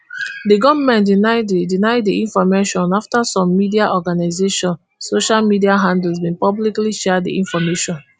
di goment deny di deny di information afta some media organisation and social media handles bin publicly share di information